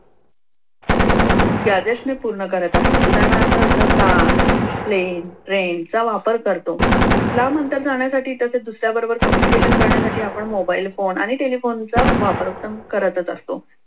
आदेशाने पूर्ण करत आहे. उदाहरणार्थ car plane train चा वापर करतो. लांब अंतर जाण्यासाठी तसेच दुसऱ्याबरोबर communication करण्यास करण्यासाठी आपण मोबाईल फोन आणि टेलिफोनचा वापर तर करत असतो.